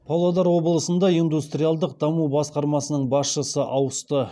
павлодар облысында индустриалдық даму басқармасының басшысы ауысты